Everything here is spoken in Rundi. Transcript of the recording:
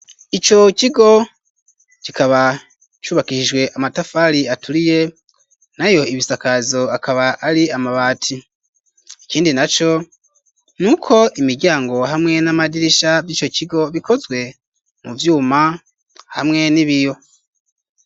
Ico kigo kikaba cubakishijwe amatafari aturiye, nayo ibisakazo akaba ari amabati; ikindi na co ni uko imiryango hamwe n'amadirisha vy'ico kigo, bikozwe mu vyuma hamwe n'ibiyo.